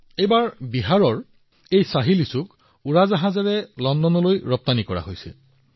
এইবাৰ বিহাৰৰ এই শাহী লিচ্চিও বিমানেৰে লণ্ডনলৈ প্ৰেৰণ কৰা হৈছে